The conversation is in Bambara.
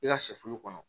I ka sɛfulu kɔnɔ